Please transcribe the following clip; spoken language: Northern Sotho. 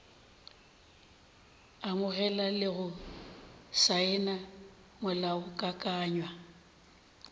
amogela le go saena molaokakanywa